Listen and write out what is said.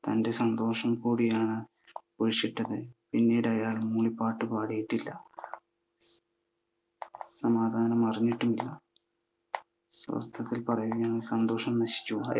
തൻ്റെ സന്തോഷം കൂടിയാണ് കുഴിച്ചിട്ടത്. പിന്നീടയാൾ മൂളിപ്പാട്ട് പാടിയിട്ടില്ല. സമാധാനമറിഞ്ഞിട്ടില്ല. സ്വസ്ഥത കുറഞ്ഞു. സന്തോഷം നശിച്ചു.